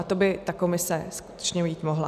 A to by ta komise skutečně jít mohla.